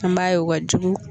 An b'a ye o kajugu.